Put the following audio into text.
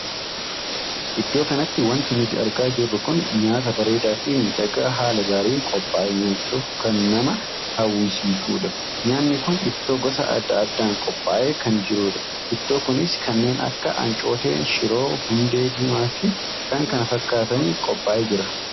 Iddoo kanatti wanti nuti argaa jirru kun nyaataa bareedaa fi miidhagaa haala gaariin qophaa'ee nyaachuuf kan nama hawwisiisudha. nyaanni kun ittoo gosa addaa addaan qophaa'ee kan jirudha. ittoo kunis kanneen akka ancooteen, shiroo, hundee diimaa fi kan kana fakkaataniin qophaa'ee jira.